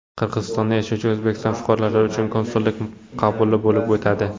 Qirg‘izistonda yashovchi O‘zbekiston fuqarolari uchun konsullik qabuli bo‘lib o‘tadi.